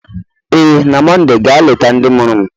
Ee, na Mọnde ga-eleta ndị mụrụ m,